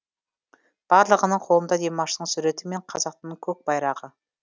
барлығының қолында димаштың суреті мен қазақтың көкбайрағы